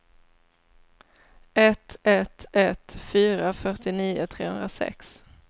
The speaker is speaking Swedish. ett ett ett fyra fyrtionio trehundrasex